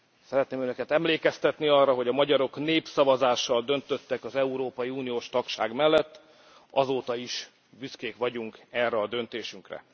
Szeretném Önöket emlékeztetni arra, hogy a magyarok népszavazással döntöttek az európai uniós tagság mellett, azóta is büszkék vagyunk erre a döntésünkre.